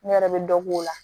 Ne yɛrɛ bɛ dɔ k'o la